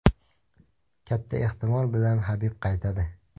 Katta ehtimol bilan Habib qaytadi.